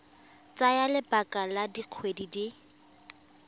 tsaya lebaka la dikgwedi di